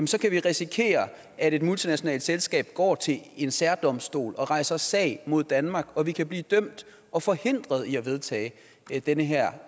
så kan vi risikere at et multinationalt selskab går til en særdomstol og rejser sag mod danmark og vi kan blive dømt og forhindret i at vedtage den her